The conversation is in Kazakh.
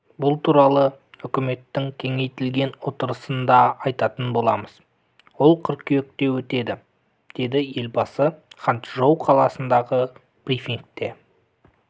бұл туралы үкіметтің кеңейтілген отырысында айтатын боламыз ол қыркүйекте өтеді деді елбасы ханчжоу қаласындағы брифингте